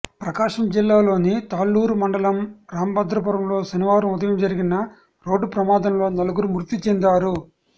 ప్రకాశం జిల్లాలోని తాళ్లూరు మండలం రాంభద్రాపురంలో శనివారం ఉదయం జరిగిన రోడ్డు ప్రమాదంలో నలుగురు మృతి చెందారు